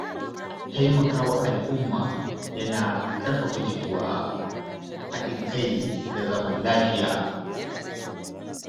Taimakawa al’umma yana ƙarfafa jituwa, haɗin kai da zaman lafiya.